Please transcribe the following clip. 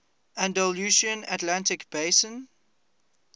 andalusian atlantic basin